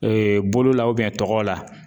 Ee bolo la o biyɛn tɔgɔ la